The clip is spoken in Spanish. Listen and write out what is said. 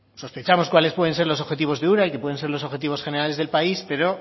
sospechamos cuáles pueden ser los objetivos de ura y que pueden ser los objetivos generales del país pero